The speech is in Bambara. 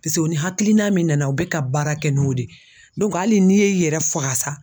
o ni hakilina min nana u bɛ ka baara kɛ n'o de ye hali n'i y'i yɛrɛ faga sa sa.